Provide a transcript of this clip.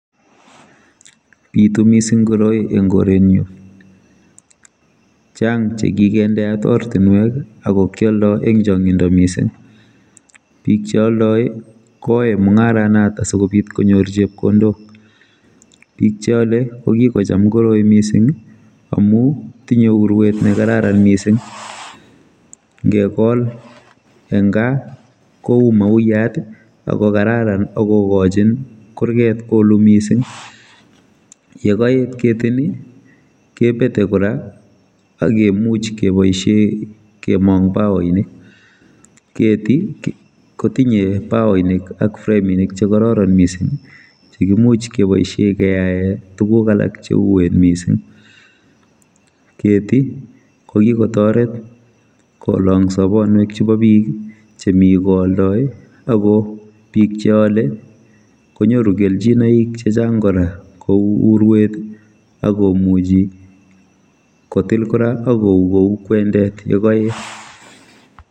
Bitu mising koroi eng koretnyu chang chekikendeat ortinwek akokioldoi eng changindo mising bik cheoldoi koae mungaronot sikobit konyor chepkondokbik cheole kokikocham koroi mising amu tinye urwet nkararan mising ngekol eng kaa kou mauyiat akokararan akokochin kurget kolu mising yekoit mising kepete kora akemuch keboisie kenem baoinik keti kotinye baoinik ak framink chekororon mising chekimuch keboisie keae tugun alak cheuen mising keti kokiketoret kolang sabanwek chebo bik chemi koaldoi ak bik cheole konyoru kelchinoik chechang kora kou urwet akomuchi kotil kora akou kou kwendet yekaet